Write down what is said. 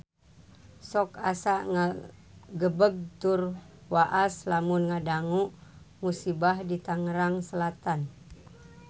Sok asa ngagebeg tur waas lamun ngadangu musibah di Tangerang Selatan